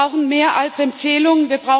Wir brauchen mehr als Empfehlungen